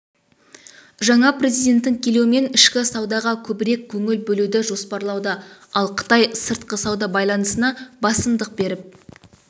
жаңа президенттің келуімен ішкі саудаға көбірек көңіл бөлуді жоспарлауда ал қытай сыртқы сауда байланысына басымдық беріп